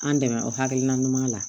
An dɛmɛ o hakilina ɲuman na